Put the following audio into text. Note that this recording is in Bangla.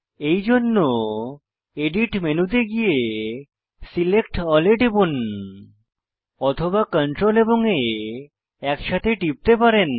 এইজন্য এডিট মেনুতে গিয়ে সিলেক্ট এএলএল এ টিপুন অথবা CTRL এবং A একসাথে টিপতে পারেন